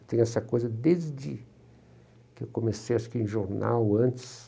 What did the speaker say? Eu tenho essa coisa desde que eu comecei, acho que em jornal, antes.